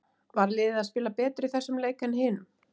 Var liðið að spila betur í þessum leik en hinum?